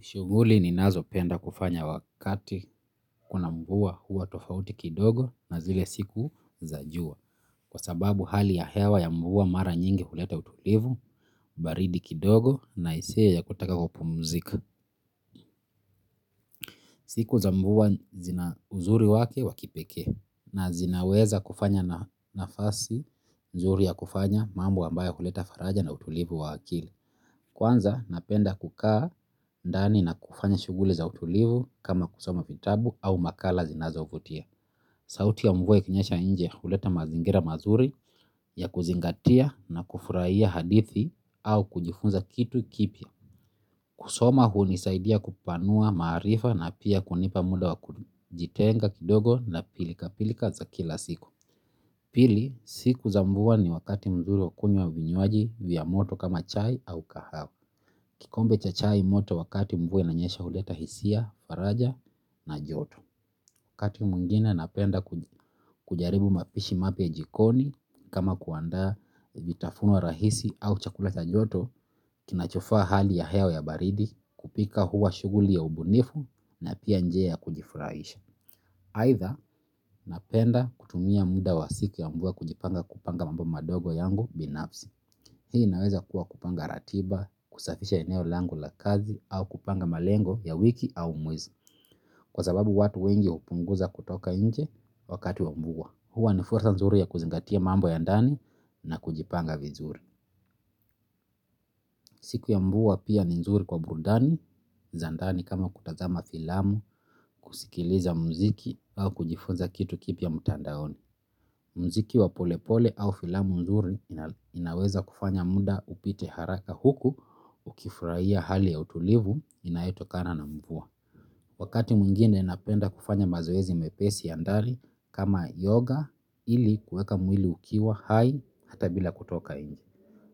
Shughuli ninazopenda kufanya wakati kuna mvua huwa tofauti kidogo na zile siku za jua. Kwa sababu hali ya hewa ya mvua mara nyingi huleta utulivu, baridi kidogo na hisia ya kutaka kupumzika. Siku za mvua zina uzuri wake wa kipekee, na zinaweza kufanya nafasi nzuri ya kufanya mambo ambayo huleta faraja na utulivu wa akili. Kwanza napenda kukaa ndani na kufanya shughuli za utulivu kama kusoma vitabu au makala zinazovutia. Sauti ya mvua ikinyesha inje huleta mazingira mazuri ya kuzingatia na kufurahia hadithi au kujifunza kitu kipya. Kusoma hunisaidia kupanua maarifa na pia kunipa muda wa kujitenga kidogo na pilikapilika za kila siku. Pili siku za mvua ni wakati mzuri wa kunywa vinywaji vya moto kama chai au kahawa. Kikombe cha chai moto wakati mvua inanyesha huleta hisia, faraja na joto. Wakati mwingine napenda kujaribu mapishi mapya jikoni kama kuandaa vitafuno rahisi au chakula cha joto, kinachofaa hali ya hewa ya baridi, kupika huwa shughuli ya ubunifu na pia njia ya kujifurahisha. Aidha napenda kutumia muda wa siku ya mvua kujipanga kupanga mambo madogo yangu binafsi. Hii inaweza kuwa kupanga ratiba, kusafisha eneo langu la kazi au kupanga malengo ya wiki au mwezi. Kwa sababu watu wengi hupunguza kutoka nje wakati wa mvua. Huwa ni fursa nzuri ya kuzingatia mambo ya ndani na kujipanga vizuri. Siku ya mvua pia ni nzuri kwa burudani za ndani kama kutazama filamu, kusikiliza muziki au kujifunza kitu kipya mtandaoni. Muziki wa polepole au filamu nzuri inaweza kufanya muda upite haraka huku ukifurahia hali ya utulivu inayotokana na mvua. Wakati mwingine napenda kufanya mazoezi mepesi ya ndani kama yoga ili kuweka mwili ukiwa hai hata bila kutoka nje.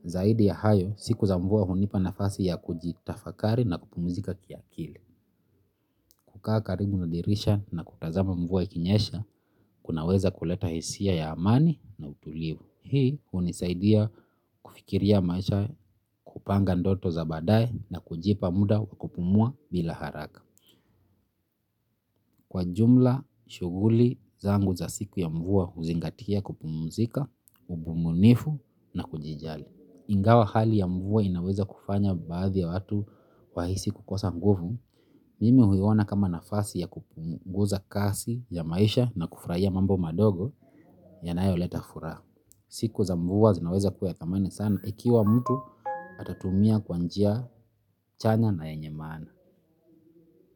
Zaidi ya hayo siku za mvua hunipa nafasi ya kujitafakari na kupumzika kiakili. Kukaa karibu na dirisha na kutazama mvua ikinyesha kunaweza kuleta hisia ya amani na utulivu. Hii hunisaidia, kufikiria maisha, kupanga ndoto za baadae na kujipa muda kupumua bila haraka. Kwa jumla shughuli zangu za siku ya mvua huzingatia kupumuzika, ubunifu na kujijali. Ingawa hali ya mvua inaweza kufanya baadhi ya watu wahisi kukosa nguvu. Mimi huiona kama nafasi ya kupunguza kasi ya maisha na kufurahia mambo madogo yanayoleta furaha. Siku za mvua zinaweza kuwa ya thamani sana. Ikiwa mtu atatumia kwa njia chanya na yenye maana.